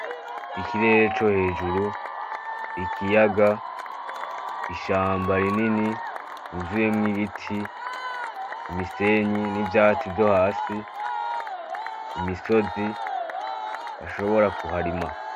Ikirere co hejuru, ikiyaga, ishamba rinini rivuyemwo ibiti, imisenyi n‘ ivyatsi vyo hasi, imisozi bashobora kuharima .